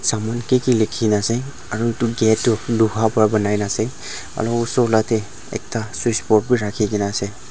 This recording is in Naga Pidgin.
saman kiki lekhi kina ase aru etu gate tu Loha para bonai ase aru osor laga te ekta switch box bhi rakhi kina ase.